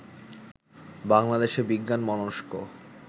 বাংলাদেশে বিজ্ঞানমনস্ক